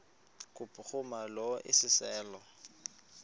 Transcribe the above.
kubhuruma lo iseso